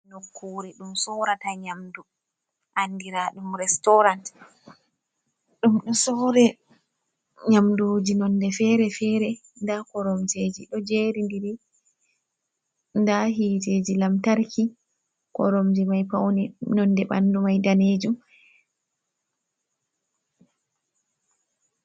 Nokkure ɗum sorrata nyamdu andira ɗum restorant ɗum ɗo sorre nyamduji nonde fere-fere, nda koromjeji ɗo jeri ndiri nda hiteji lamtarki koromje mai paune Nonde paune man ɓandu danejum.